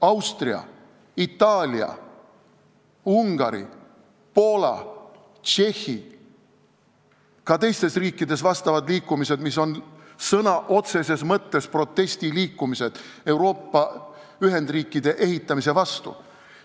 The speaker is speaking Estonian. Austrias, Itaalias, Ungaris, Poolas, Tšehhis ja ka teistes riikides on liikumised, mis on sõna otseses mõttes protestiliikumised Euroopa ühendriikide ehitamise vastu.